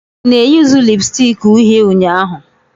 Ị na-eyuzu lipusticki uhie ụnyaahụ?